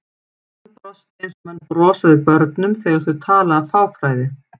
Hann brosti eins og menn brosa við börnum þegar þau tala af fáfræði.